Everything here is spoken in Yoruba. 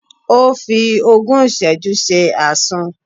Ó fi ogún ìsẹ́jú ṣe Àsun.